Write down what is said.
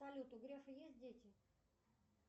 салют у грефа есть дети